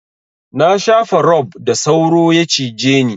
Na shafa rob da sauro ya cije ni.